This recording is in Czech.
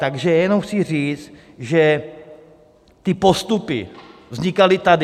Takže jenom chci říct, že ty postupy vznikaly tady.